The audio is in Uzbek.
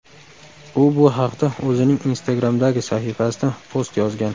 U bu haqda o‘zining Instagram’dagi sahifasida post yozgan .